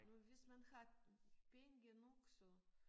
Men hvis man har penge nok så